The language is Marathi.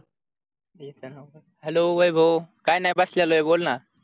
hello वैभव काय नाय बसलोये बोल ना